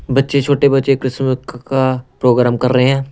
बच्चे छोटे बच्चे क्रिस्टमस का प्रोग्राम कर रहे हैं।